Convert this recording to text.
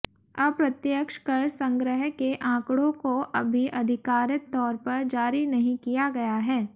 अप्रत्यक्ष कर संग्रह के आंकड़ों को अभी आधिकारित तौर पर जारी नहीं किया गया है